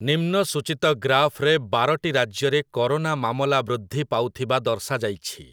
ନିମ୍ନ ସୂଚିତ ଗ୍ରାଫ୍‌ରେ ବାରଟି ରାଜ୍ୟରେ କରୋନା ମାମଲା ବୃୃଦ୍ଧି ପାଉଥିବା ଦର୍ଶାଯାଇଛି ।